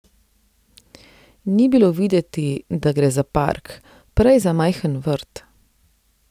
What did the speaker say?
Ni bilo videti, da gre za park, prej za majhen vrt.